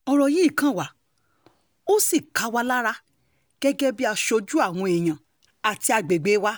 ọ̀rọ̀ yìí kan wà ó sì ń ká wa lára gẹ́gẹ́ bíi aṣojú àwọn èèyàn àti àgbègbè wa